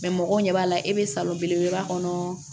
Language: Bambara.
mɔgɔw ɲɛ b'a la e bɛ salo belebeleba kɔnɔ